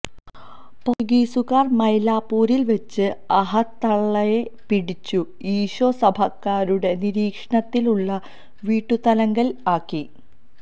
പോർട്ടുഗീസുകാർ മൈലാപ്പൂരിൽ വച്ച് അഹത്തള്ളയെ പിടിച്ചു ഈശൊ സഭക്കാരുടെ നിരീക്ഷണത്തിലുള്ള വീട്ടുതടങ്കലിൽ ആക്കി